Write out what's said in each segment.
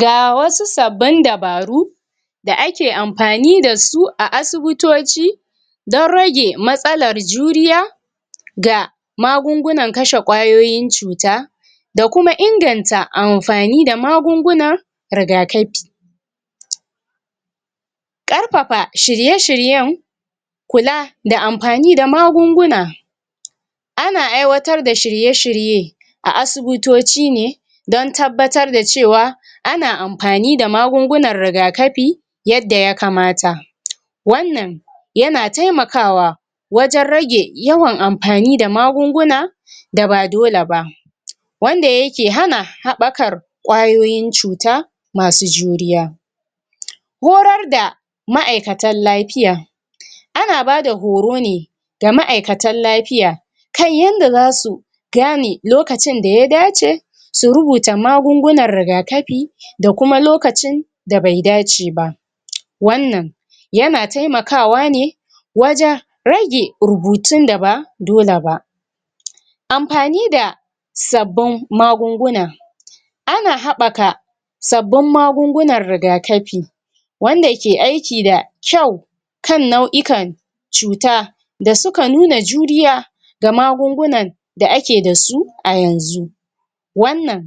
Ga wasu sabbin dabaru da ake amfani da su a asubutoci, don rage matsalar juriya, ga magungunan kashe ƙwayoyin cuta, da kuma inganta amfani da magunguna rigakafi. Ƙarfafa shirye-shiryen kula, da amfani da magunguna. Ana aiwatar da shirye-shirye a asubutoci ne, don tabbatar da cewa ana amfani da magungunan rigakafi yadda ya kamata. Wannan yana taimakawa wajan rage yawan amfani da magunguna da ba dole ba, wanda yake hana haɓɓakar ƙwayoyin cuta masu juriya. Horar da ma'aikatan lafiya. Ana bada horo ne ga ma'aikatan lafiya kan yanda zasu gane lokacin da ya dace su rubuta magungunan rigakafi, da kuma lokacin da bai dace ba. Wannan yana taimakawa ne wajan rage rubutun da ba dole ba. Amfani da sabbun magunguna. Ana haɓɓaka sabbun magungunan rigakafi, wanda ke aiki da kyau, kan nau'ikan cuta da suka nuna juriya, ga magungunan da ake da su a yanzu. Wannan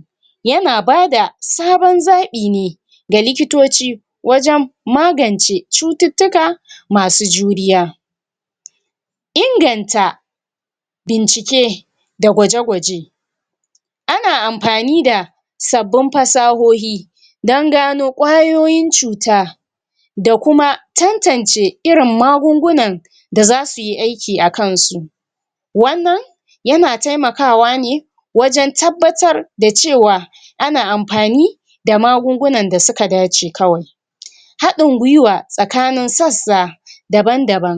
yana bada saban zaɓi ne ga likitoci, wajan magance cututtuka masu juriya. Inganta bincike da gwaje-gwaje. Ana amfani da sabbun fasahohi, dan gano ƙwayoyin cuta, da kuma tantance irin magungunan da za suyi aiki a kan su. Wannan yana taimakawa ne wajan tabbatar da cewa ana amfani da magungunan da suka dace kawai. haɗin gwuiwa tsakanin sassa daban-daban.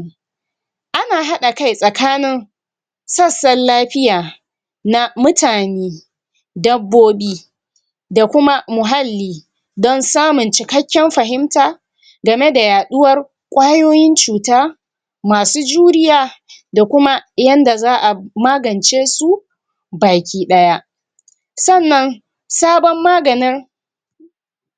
Ana haɗa kai tsakanin sassan lafiya na mutane, dabbobi, da kuma muhalli, don samun cikakken fahimta, game da yaɗuwar ƙwayoyin cuta masu juriya, da kuma yanda za a magance su baki ɗaya. Sannan sabon maganin